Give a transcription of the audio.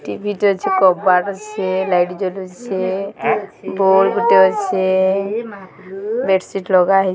TV ଟେ ଅଛି କବାଟ ଅସେ ଲାଇଟ ଜଳୁସେ ବଲ ଗୁଟେ ଅଛେ ବେଡ଼ସିଟ ଲଗାହେଇ --